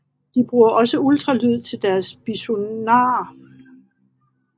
De bruger også ultralyd til deres biosonar